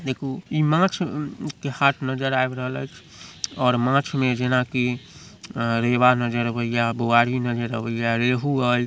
देखू इ माछ के हाट नजर आव रहले और माछ में जेना कि रेवा नजर आवे या बुआरी नजर आवे या रेहू एय।